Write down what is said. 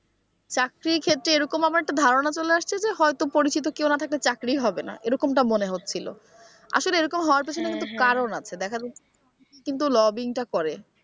চাকরির ক্ষেত্রে এরকম আমার একটা ধারণা চলে আসছে যে হয়তো পরিচিত কেউ না থাকলে চাকরি হবে না এরকমটা মনে হচ্ছিল আসলে এরকম হওয়ার পিছনে কারণ আছে দেখা যাচ্ছে কিন্তু lobbying টা করে।